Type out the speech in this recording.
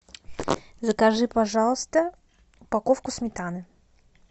закажи пожалуйста упаковку сметаны